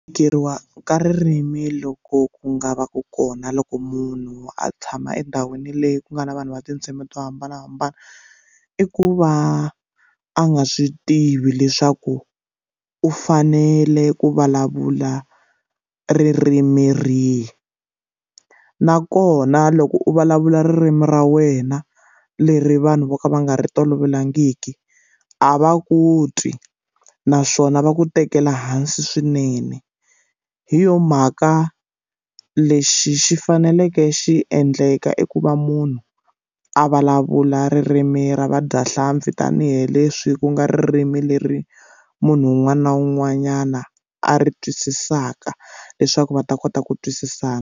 Ku tikeriwa ka ririmi loko ku nga va ku kona loko munhu a tshama endhawini leyi ku nga na vanhu va tindzimi to hambanahambana i ku va a nga swi tivi leswaku u fanele ku vulavula ririmi rihi nakona loko u vulavula ririmi ra wena leri vanhu vo ka va nga ri tolovelangiki a va ku twi naswona va ku tekela hansi swinene hi yo mhaka lexi xi faneleke xi endleka i ku va munhu a vulavula ririmi ra vadyahlampfi tanihileswi ku nga ririmi leri munhu un'wana na un'wanyana a ri twisisaka leswaku va ta kota ku twisisana.